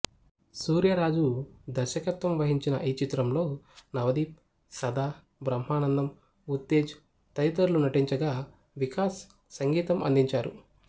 సూర్యరాజు దర్శకత్వం వహించిన ఈ చిత్రంలో నవదీప్ సదా బ్రహ్మానందం ఉత్తేజ్ తదితరులు నటించగా వికాస్ సంగీతం అందించారు